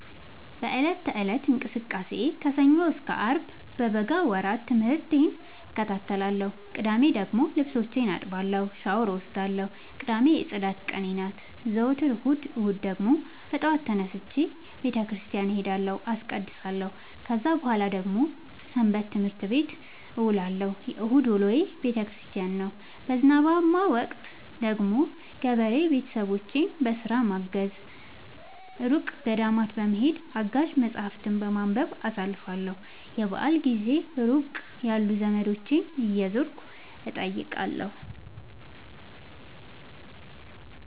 በእለት ከእለት እንቅስቃሴዬ ከሰኞ እስከ አርብ በበጋ ወራት ትምህርቴን እከታተላለሁ። ቅዳሜ ደግሞ ልብሶቼን አጥባለሁ ሻውር እወስዳለሁ ቅዳሜ የፅዳት ቀኔ ናት። ዘወትር እሁድ እሁድ ደግሞ በጠዋት ተነስቼ በተክርስቲያን እሄዳለሁ አስቀድሳሁ። ከዛ በኃላ ደግሞ ሰበትምህርት ቤት እውላለሁ የእሁድ ውሎዬ ቤተክርስቲያን ነው። በዝናባማ ወቅት ደግሞ ገበሬ ቤተሰቦቼን በስራ በማገ፤ እሩቅ ገዳማት በመሄድ፤ አጋዥ መፀሀፍትን በማንበብ አሳልፍለሁ። የበአል ጊዜ ሩቅ ያሉ ዘመዶቼን እየዞርኩ እጠይቃለሁ።